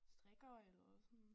Strikker eller sådan